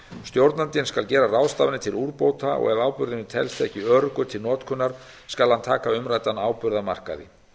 stjórnandinn skal gera ráðstafanir til úrbóta og ef áburðurinn telst ekki ábyrgur til notkunar skal hann taka umræddan áburð af markaði